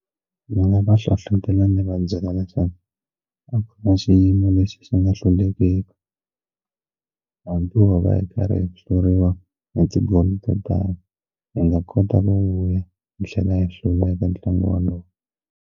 Ndzi nga va hlohlotela ndzi va byela leswaku a kuma xiyimo lexi xi nga hlulekeke hambi wo va hi karhi hi hluriwa ni ti-goal to tala hi nga kota ku vuya hi tlhela ya hluriwa eka ntlangu wolowo.